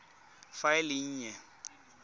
fa e le e nnye